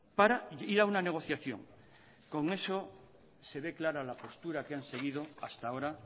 para ir a una negociación con eso se ve clara la postura que han seguido hasta ahora